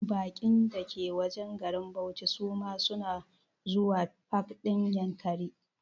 Baƙin da ke wajen garin bauchi su ma suna zuwa pak ɗin Yankari